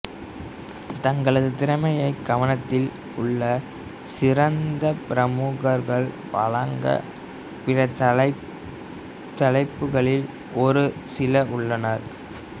தங்களது திறமையை கவனத்தில் உள்ள சிறந்த பிரமுகர்கள் வழங்க பிற தலைப்புகளில் ஒரு சில உள்ளன